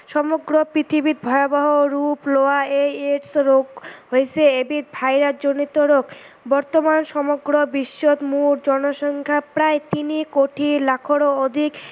সমগ্ৰ পৃথিৱীত ভয়াবহ ৰূপ লোৱা এই AIDS ৰোগ হৈছে এবিধ ভাইৰাচ জনিত ৰোগ। বৰ্তমান সমগ্ৰ বিশ্বত মুঠ জনসংখ্যা প্ৰায় তিনি কোটি লাখৰো অধিক